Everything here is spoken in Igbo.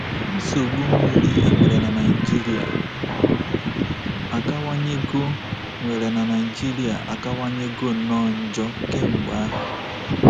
Nsogbu mmiri e nwere n'Naịjirịa akawanyego nwere n'Naịjirịa akawanyego nnọọ njọ kemgbe ahụ.